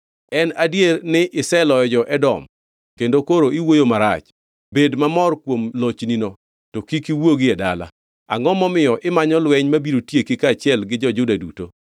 En adier ni iseloyo jo-Edom kendo koro iwuoyo marach. Bed mamor kuom lochnino, to kik iwuogi e dala! Angʼo momiyo imanyo lweny mabiro tieki kaachiel gi jo-Juda duto?”